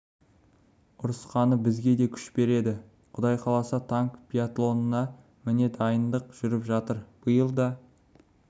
ұрысқаны бізге де күш береді құдай қаласа танк биатлонына міне дайындық жүріп жатыр биыл да